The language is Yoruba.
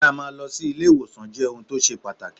Kí á máa lọ si ilé ìwòsàn jẹ́ ohun tó ṣe pàtàkì.